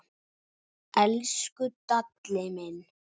Elsku Dalli minn.